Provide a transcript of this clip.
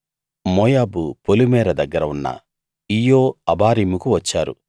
Oboth నుండి Moab పొలిమేర దగ్గర ఉన్న ఈయ్యె అబారీముకు వచ్చారు